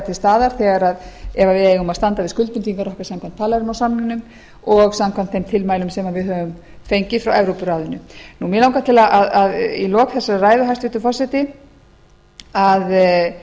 til staðar ef við eigum að standa við skuldbindingar okkar samkvæmt palermó samningnum og samkvæmt þeim tilmælum sem við höfum fengið frá evrópuráðinu mig langar til í lok þessarar ræðu hæstvirtur forseti að